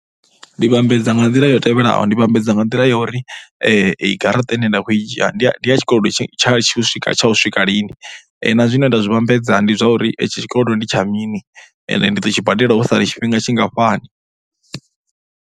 Ndi vhambedza nga nḓila iyo tevhelaho, ndi vhambedza nga nḓila ya uri garaṱa ine nda khou i dzhia ndi ya tshikolodo tshi a, tsha u swika lini, na zwine nda zwi vhambedza ndi zwa uri itshi tshikolodo ndi tsha mini ende ndi ḓo tshi badela ho sala tshifhinga tshingafhani.